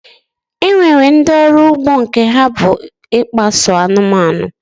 E nwere ndị ọrụ ugbo nke ha bụ ịkpa so anụmanụ